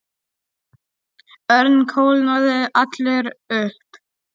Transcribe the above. Örn kólnaði allur upp.